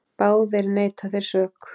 Báðir neita þeir sök.